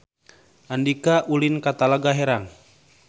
Andika ulin ka Talaga Herang